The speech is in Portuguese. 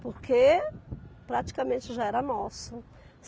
Porque praticamente já era nosso.